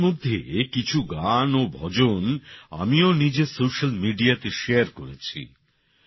এগুলির মধ্যে কিছু গান ও ভজন আমিও নিজের সোশ্যাল মিডিয়াতে শেয়ার করেছি